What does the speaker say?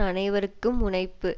அனைவருக்கும் முனைப்பு